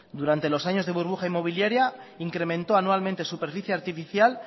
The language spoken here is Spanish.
durante los años de burbuja inmobiliaria incrementó anualmente superficie artificial